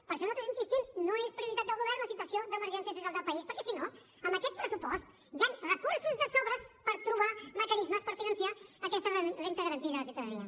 per això nosaltres hi insistim no és prioritat del govern la situació d’emergència social del país perquè si no amb aquest pressupost hi han recursos de sobres per trobar mecanismes per finançar aquesta renda garantida de ciutadania